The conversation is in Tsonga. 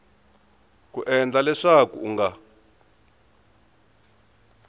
ku endla leswaku u nga